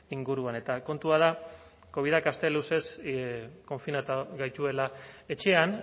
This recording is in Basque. inguruan eta kontua da covidak aste luzez konfinatu gaituela etxean